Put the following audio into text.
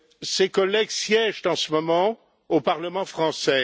Ces collègues siègent en ce moment au Parlement français.